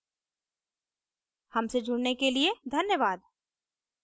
हमसे जुड़ने के लिए धन्यवाद